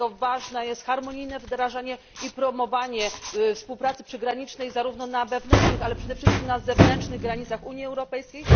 Dlatego ważne jest harmonijne wdrażanie i promowanie współpracy przygranicznej, zarówno na wewnętrznych, ale przede wszystkim na zewnętrznych granicach Unii Europejskiej.